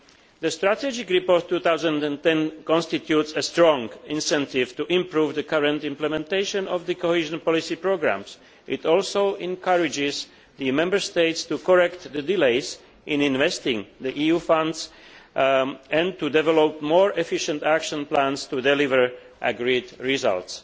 The strategic report 2010 constitutes a strong incentive to improve the current implementation of the cohesion policy programmes. It also encourages the Member States to correct delays in investing EU funds and to develop more efficient action plans to deliver the agreed results.